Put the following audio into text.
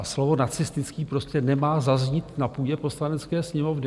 A slovo nacistický prostě nemá zaznít na půdě Poslanecké sněmovny.